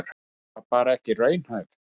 Hún var bara ekki raunhæf.